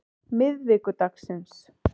miðvikudagsins